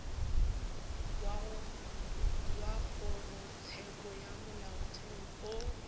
wa kgorotsheko ya molaotheo o